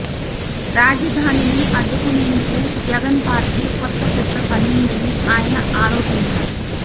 రాజధానిని అడ్డుకునేందుకు జగన్ పార్టీ కొత్త కుట్ర పన్నిందని ఆయన ఆరోపించారు